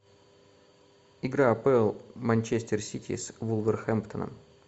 игра апл манчестер сити с вулверхэмптоном